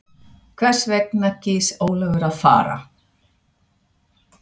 Hvers vegna kýs Ólafur að fara?